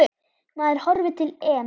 Maður horfir til EM.